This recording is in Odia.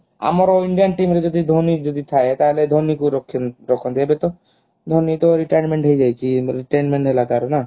ଆମର indian team ରେ ଯଦି ଧୋନୀ ଯଦି ଥାଏ ତା ହେଲେ ଧୋନୀ କୁ ରଖନ୍ତେ ଏବେ ତ ଧୋନୀ ତ retirement ହେଇଯାଇଛି retirement ହେଲା ତାର ନା